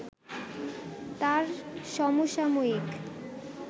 তার সমসাময়িক